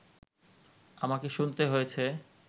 আমাকে শুনতে হয়েছে